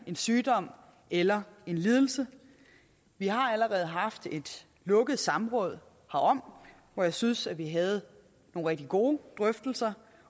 en sygdom eller lidelse vi har allerede haft et lukket samråd herom hvor jeg synes vi havde nogle rigtig gode drøftelser